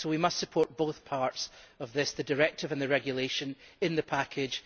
So we must support both parts of this, the directive and the regulation in the package